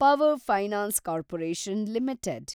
power Finance Corporation limited